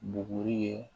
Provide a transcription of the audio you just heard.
Buguri ye